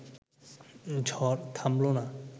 ঝড় থামল না